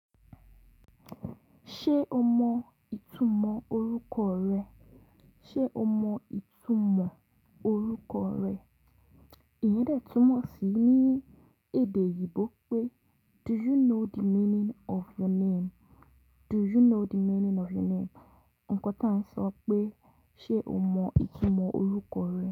Ṣé o mọ ìtumọ̀ orúkọ rẹ? Ṣé o mọ ìtumọ̀ orúkọ rẹ? Ìyẹn tẹ́túmọ̀ sí ní èdè oyigbò pé "Do you know the meaning of your name?" Do you know the meaning of your name? Ǹkọ́ tí à ń sọ pé ṣé o mọ ìtumọ̀ orúkọ rẹ.